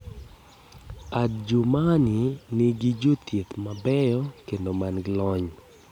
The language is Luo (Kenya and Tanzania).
Adjumani nigi jothieth mabeyo kendo man gi lony.